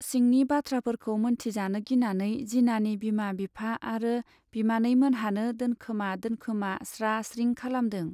सिंनि बाथ्राफोरखौ मोनथिजानो गिनानै जिनानि बिमा बिफा आरो बिमानैमोनहानो दोनखोमा दोनखोमा स्रा स्रिं खालामदों।